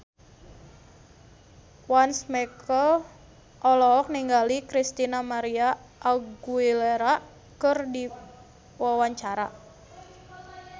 Once Mekel olohok ningali Christina María Aguilera keur diwawancara